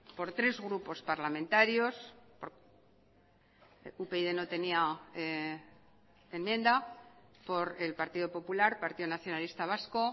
por tres grupos parlamentarios upyd no tenía enmienda por el partido popular partido nacionalista vasco